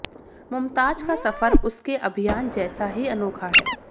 मुमताज का सफ़र उसके अभियान जैसा ही अनोखा है